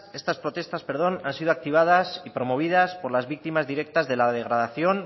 estas protestas han sido activadas y promovidas por las víctimas directas de la degradación